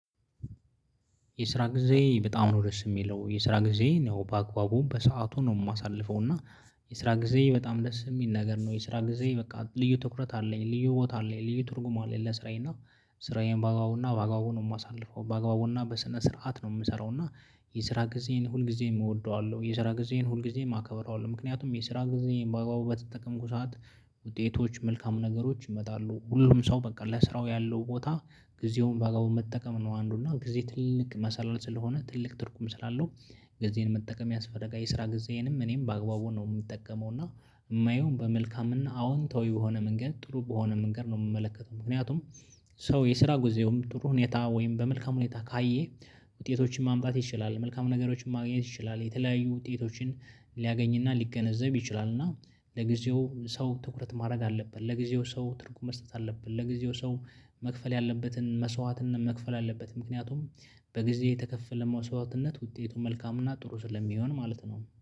የስራ ጊዜ በጣም ነው ደስ የሚለው። የስራ ጊዜ ያው በአግባቡ በሰአቱ ነው የማሳልፈው እና የስራ ጊዜ በጣም ደስ የሚል ነገር ነው። የስራ ጊዜ በቃ ልዩ ትኩረት አለኝ፣ ልዩ ቦታ አለኝ፣ ልዩ ትርጉም አለኝ ለስራዬ እና ስራዬን በአግባቡና በአግባቡ ነው የማሳልፈው በአግባቡና በስነ ስርዓት ነው የምሰራውና የስራ ጊዜዬን ሁልጊዜም እወደዋለሁ፣ የስራ ጊዜን ሁል ጊዜ አከብረዋለሁ ምክንያቱም የስራ ጊዜዬን በአግባቡ በተጠቀምኩ ሰዓት ውጤቶች መልካም ነገሮች ይመጣሉ። ሁሉም ሰው በቃ ለስራው ያለው ቦታ ጊዜውን በአግባቡና መጠቀም ነው አንዱ እና ጊዜ ትልቅ መሰላል ስለሆነ ትልቅ ትርጉም ስላለው ጊዜን መጠቀም ያስፈልጋል። የስራ ጊዜዬንም እኔም በአግባቡ ነው የምጠቀመው እና የማየው በመልካምና አዎንታዊ በሆነ መንገድ ጥሩ በሆነ መንገድ ነው የምመለከተው ምክንያቱም ሰው የስራ ጊዜውን በጥሩ ሁኔታ ወይም በመልካም ሁኔታ ካየ ውጤቶችን ማምጣት ይችላል፣ መልካም ነገሮችን ማግኘት ይችላል፣ የተለያዩ ውጤቶችን ሊያገኝና ሊገነዘብ ይችላል እና ለጊዜው ሰው ትኩረት ማድረግ አለብን፣ ለጊዜው ሰው ትርጉም መስጠት አለብን፣ ለጊዜው ሰው መክፈል ያለበትን መስዋዕትና መክፈል አለበት ምክንያቱም በጊዜ የተከፈለ መስዋዕትነት ውጤቱ መልካሙና ጥሩ ስለሚሆን ማለት ነው።